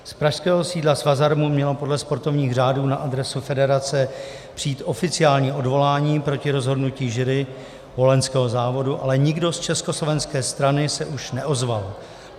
Z pražského sídla Svazarmu mělo podle sportovních řádů na adresu federace přijít oficiální odvolání proti rozhodnutí jury wohlenského závodu, ale nikdo z československé strany se už neozval.